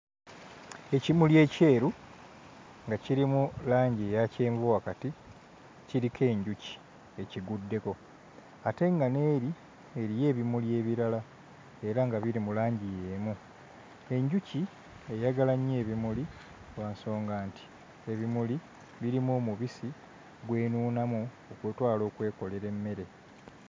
Ekimuli ekyeru nga kirimu langi eya kyenvu wakati kiriko enjuki ekiguddeko ate nga n'eri eriyo ebimuli ebirala era nga biri mu langi y'emu. Enjuki eyagala nnyo ebimuli lwa nsonga nti ebimuli birimu omubisi gw'enuunamu okutwala okwekolera emmere.